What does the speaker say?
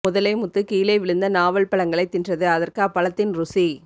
முதலை முத்து கீழே விழுந்த நாவல் பழங்களை தின்றது அதற்கு அப்பழத்தின் ருசி